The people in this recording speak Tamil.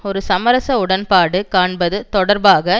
ஒரு சமரச உடன்பாடு காண்பது தொடர்பாக